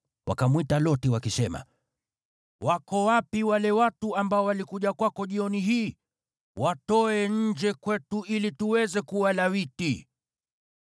Wakamwita Loti wakisema, “Wako wapi wale watu ambao walikuja kwako jioni hii? Watoe nje kwetu ili tuweze kuwalawiti.”